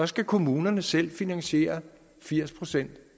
skal kommunerne selv finansiere firs procent